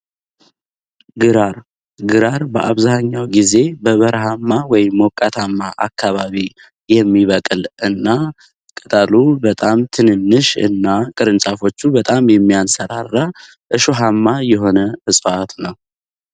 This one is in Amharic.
ግራር ግራር በአብዛኛው ጊዜ በበረሃማ ወይ ሞቃታማ አካባቢ የሚበቅል እና ቀጣሉ በጣም ትንሽ እና ቅርንጫፎቹ በጣም የሚያንሰራራ እሾሃማ የሆነ የአትክልት አይነት ነው።